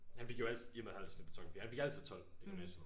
Han fik jo alt i og med han havde et snit på 12,4 han fik altid 12 i gymnasiet